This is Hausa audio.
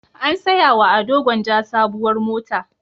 An saya wa Ado Gwanja sabuwar mota.